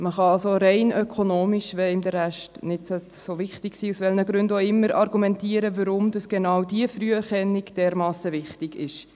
Man kann also rein ökonomisch argumentieren, warum genau diese Früherkennung dermassen wichtig ist, wenn einem der Rest, aus welchen Gründen auch immer, nicht so wichtig ist.